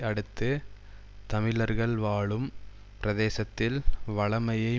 அடுத்து தமிழர்கள் வாழும் பிரதேசத்தில் வழமையை